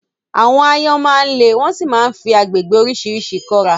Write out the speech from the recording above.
Àwọn áyọ́n má ń le wọ́n sì máa fi agbègbè oríṣiríṣi kọ́ra